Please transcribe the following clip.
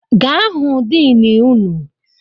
Gaa hụ dini unu!